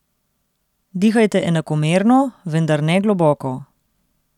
Dihajte enakomerno, vendar ne globoko.